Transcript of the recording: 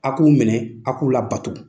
A k'u minɛ a k'u la bato.